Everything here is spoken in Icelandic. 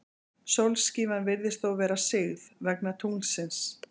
Sólskífan virðist þá vera sigð, vegna tunglsins.